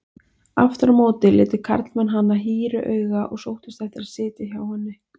Aftur á móti litu karlmenn hana hýru auga og sóttust eftir að sitja hjá henni.